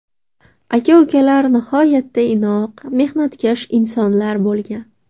Aka-ukalar nihoyatda inoq, mehnatkash insonlar bo‘lgan.